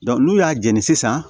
n'u y'a jɛni sisan